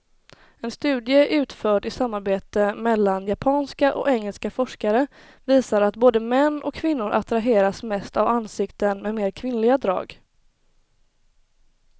En studie utförd i samarbete mellan japanska och engelska forskare visar att både män och kvinnor attraheras mest av ansikten med mer kvinnliga drag.